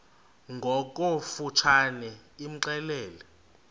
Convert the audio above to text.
ngokofu tshane imxelele